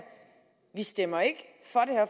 vi stemmer ikke